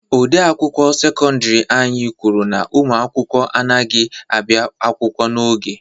Odeakwụkwọ sekọndiri anyị kwuru na ụmụ akwụkwọ anyị adịghị ahịa akwụkwọ n'oge.